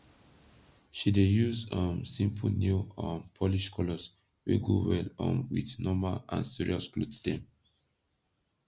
she dey yus um simpol nail um polish kolors wey go well um wit normal and sirios kloth dem